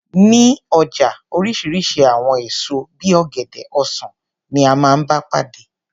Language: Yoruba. Ní ọjà oríṣiríṣi àwọn èso bí i ọ̀gẹ̀dẹ̀, ọsan ni a máa ń bá pàdé.